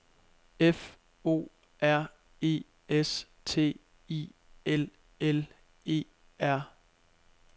F O R E S T I L L E R